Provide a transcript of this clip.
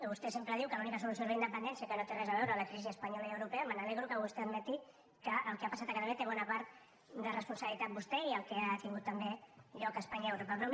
vostè sempre diu que l’única solució és la independència que no té res a veure la crisi espanyola i europea me n’alegro que vostè admeti que el que ha passat a catalunya en té bona part de responsabilitat vostè i el que ha tingut també lloc a espanya i a europa